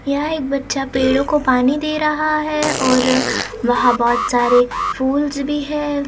यहां एक बच्चा पेड़ों को पानी दे रहा है और वहां बहोत सारे फूल्स भी है।